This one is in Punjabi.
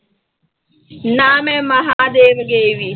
ਨਾ ਮੈਂ ਮਹਾਂਦੇਵ ਗਈ ਵੀ।